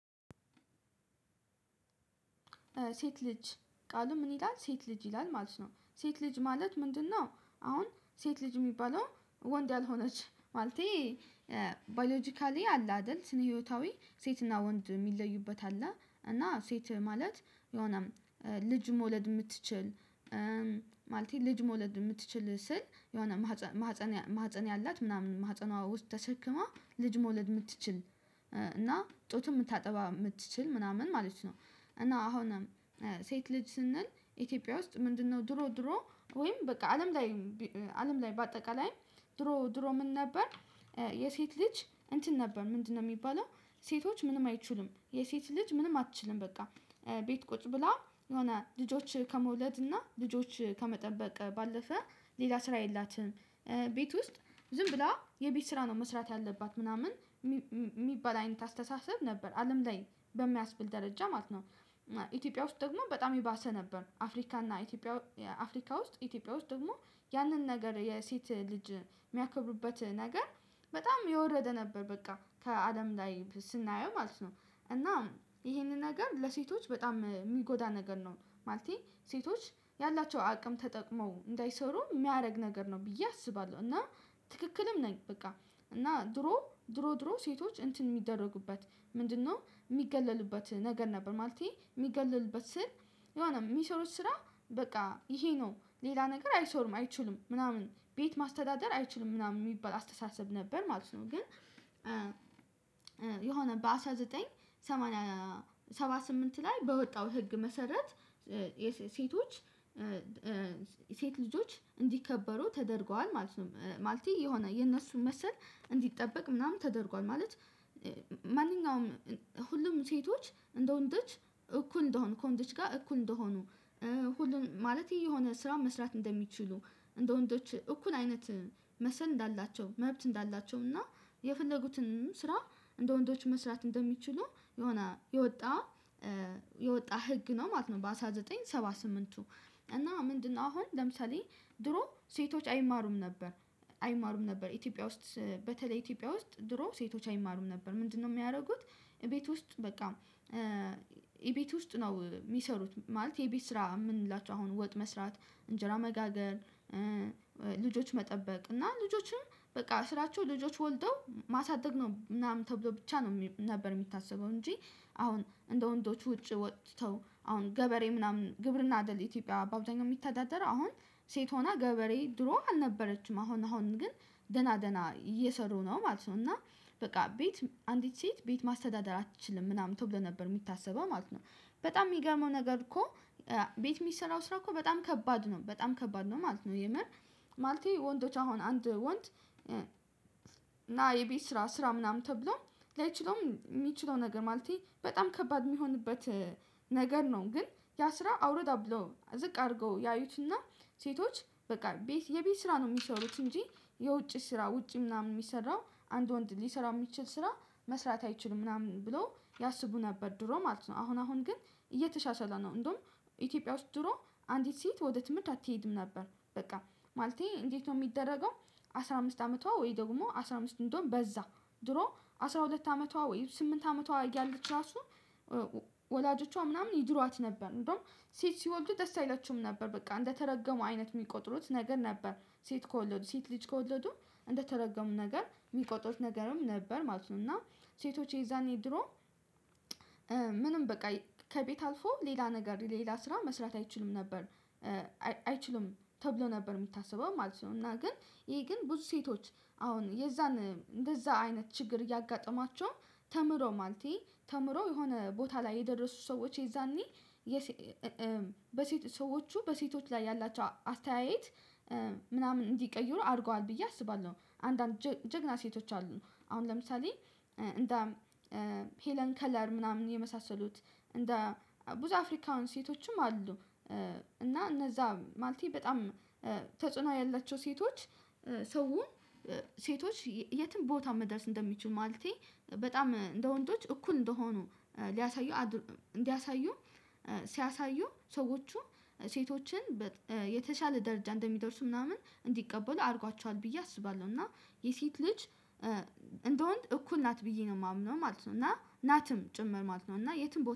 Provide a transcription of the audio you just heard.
ሴት ልጅ ቃሉ ምን ይላል ሴት ልጅ ይላል ማለት ነው ሴት ልጅ ማለት ምንድነው? አሁን ሴት ልጅ ሚባለው ወንድ ያልሆነች ማለቴ። ባዮሎጂካሊ አለ አደል ስነ ህይወታዊ ሴትና ወንድ ሚለዩበት አለ እና ሴት ማለት የሆነም ልጅ መውለድ ምትችል። ማለቴ ልጅ መውለድ ምትችል ስል የሆነ ማህፀን ያላት ምናምን ማህፀኗ ውስጥ ተሸክማ ልጅ መውለድ ምትችል እና ጡትም ምታጠባ ምትችል ምናምን ማለት ነው። እና አሁንም ሴት ልጅ ስንል ኢትዮጵያ ውስጥ ምንድነው ድሮ ድሮ ወይም በቃ አለም ላይ። አለም ላይ በአጠቃላይ ድሮ ድሮ ምን ነበር? የሴት ልጅ እንትን ነበር ምንድነው ሚባለው? ሴቶች ምንም አይችሉም የሴት ልጅ ምንም አትችልም በቃ። ቤት ቁጭ ብላ የሆነ ልጆች ከመውለድ እና ልጆች ከመጠበቅ ባለፈ ሌላ ስራ የላትም። ቤት ውስጥ ዝም ብላ የቤት ስራ ነው መስራት ያለባት ምናምን ሚባል አይነት አስተሳሰብ ነበር አለም ላይ በሚያስብል ደረጃ ማለት ነው። ኢትዮጵያ ውስጥ ደግሞ በጣም የባሰ ነበር። አፍሪካ እና ኢትዮጵያ አፍሪካ ውስጥ ኢትዮጵያ ውስጥ ደግሞ ያንን ነገር የሴት ልጅ ሚያከብሩበት ነገር በጣም የወረደ ነበር በቃ ከአለም ላይ ስናየው ማለት ነው። እና ይሄንን ነገር ለሴቶች በጣም ሚጎዳ ነገር ነው ማለቴ። ሴቶች ያላቸው አቅም ተጠቅመው እንዳይሰሩ ሚያረግ ነገር ነው ብዬ አስባለው እና ትክክልም ነኝ በቃ። እና ድሮ ድሮ ድሮ ሴቶች እንትን ሚደረጉበት ምንድነው? ሚገለሉበት ነገር ነበር ማለቴ ሚገለሉበት ስል የሆነ ሚሰሩት ስራ በቃ ይሄ ነው ሌላ ነገር አይሰሩም አይችሉም ምናምን ቤት ማስተዳደር አይችሉም ምናምን ሚባል አስተሳሰብ ነበር ማለት ነው። ግን የሆነ በአንድ ሺህ ዘጠኝ መቶ ሰባ ስምንት ላይ በወጣው ህግ መሰረት። ሴቶች ሴት ልጆች እንዲከበሩ ተደርጓል ማለት ነው ማለቴ የሆነ የነሱን መሰል እንዲጠበቅ ምናምን ተደርጓል ማለት። ማንኛውም ሁሉም ሴቶች እንደ ወንዶች እኩል እንደሆኑ ከወንዶች ጋር እኩል እንደሆኑ። ሁሉን ማለቴ የሆነ ስራ መስራት እንደሚችሉ እንደ ወንዶች እኩል አይነት መሰል እንዳላቸው መብት እንዳላቸው እና የፈለጉትንም ስራ እንደ ወንዶች መስራት እንደሚችሉ የሆነ የወጣ የወጣ ህግ ነው ማለት ነው። በአንድ ሺህ ዘጠኝ መቶ ሰባ ስምንትቱ እና ምንድነው አሁን ለምሳሌ። ድሮ ሴቶች አይማሩም ነበር። አይማሩም ነበር ኢትዮጵያ ውስጥ በተለይ ኢትዮጵያ ውስጥ ድሮ ሴቶች አይማሩም ነበር ምንድነው ሚያረጉት? እቤት ውስጥ በቃ የቤት ውስጥ ነው ሚሰሩት ማለቴ የቤት ስራ ምንላቸው አሁን ወጥ መስራት እንጀራ መጋገር። ልጆች መጠበቅ እና ልጆችም በቃ ስራቸው ልጆች ወልደው ማሳደግ ነው ምናምን ተብሎ ብቻ ነው ነበር ሚታሰበው እንጂ። አሁን እንደ ወንዶች ውጪ ወጥተው አሁን ገበሬ ምናምን ግብርና አደል ኢትዮጵያ በአብዛኛው ሚተዳደረው አሁን ሴት ሆና ገበሬ ድሮ አልነበረችም አሁን አሁን ግን ደና ደና እየሰሩ ነው ማለት ነው። እና በቃ ቤት አንዲት ሴት ቤት ማስተዳደር አትችልም ምናምን ተብሎ ነበር ሚታሰበው ማለት ነው። በጣም ሚገርመው ነገር እኮ ቤት ሚሰራው ስራ እኮ በጣም ከባድ ነው በጣም ከባድ ነው ማለት ነው። የምር ማለቴ ወንዶች አሁን አንድ ወንድ ና የቤት ስራ ስራ ምናምን ተብሎ ላይችለውም ሚችለው ነገር ማለቴ በጣም ከባድ ሚሆንበት ነገር ነው። ግን ያ ስራ አውርዳ ብሎ ብለው ዝቅ አርገው ያዩትና ሴቶች በቃ ቤት የቤት ስራ ነው ሚሰሩት እንጂ የውጪ ስራ ውጪ ምናምን ሚሰራው አንድ ወንድ ሊሰራው ሚችል ስራ መስራት አይችሉም ምናምን ብሎ ያስቡ ነበር። ድሮ ማለት ነው አሁን አሁን ግን እየተሻሻለ ነው። እንደውም ኢትዮጵያ ውስጥ ድሮ አንዲት ሴት ወደ ትምርት አትሄድም ነበር በቃ። ማለቴ እንዴት ነው ሚደረገው? አስራ አምስት አመቷ ወይ ደግሞ አስራ አምስት እንደውም በዛ ድሮ አስራ ሁለት አመቷ ወይም ስምንት አመቷ እያለች ራሱ ወላጆቿ ምናምን ይድሯት ነበር እንደውም ሴት ሲወልዱ ደስ አይላቸውም ነበር በቃ እንደተረገሙ አይነት ሚቆጥሩት ነገር ነበር። ሴት ከወለዱ ሴት ልጅ ከወለዱ እንደተረገሙ ነገር ሚቆጥሩት ነገርም ነበር ማለት ነው። እና ሴቶች የዛኔ ድሮ ምንም በቃ ከቤት አልፎ ሌላ ነገር ሌላ ስራ መስራት አይችሉም ነበር። አይችሉም ተብሎ ነበር ሚታሰበው ማለት ነው እና ግን ይሄ ግን ብዙ ሴቶች አሁን የዛን እንደዛ አይነት ችግር እያጋጠማቸው። ተምሮ ማለቴ ተምሮ የሆነ ቦታ ላይ የደረሱ ሰዎች የዛኔ በሴት ሰዎቹ በሴቶች ላይ ያላቸው አስተያየት ምናምን እንዲቀይሩ አርገዋል ብዬ አስባለው። አንዳንድ ጀግና ሴቶች አሉ። አሁን ለምሳሌ እንደ ሄለን ከለር ምናምን የመሳሰሉት እንደ ብዙ አፍሪካውን ሴቶችም አሉ። እና እነዛ ማለቴ በጣም ተጽዕኖ ያላቸው ሴቶች ሰውን ሴቶች የትም ቦታ መድረስ እንደሚችሉ ማለቴ በጣም እንደ ወንዶች እኩል እንደሆኑ ሊያሳዩ እንዲያሳዩ ሲያሳዩ ሰዎቹ ሴቶችን የተሻለ ደረጃ እንደሚደርሱ ምናምን እንዲቀበሉ አርጓቸዋል ብዬ አስባለው። እና የሴት ልጅ እንደወንድ እኩል ናት ብዬ ነው ማምነው ማለት ነው። እና ናትም ጭምር ማለት ነው። እና የትም ቦታ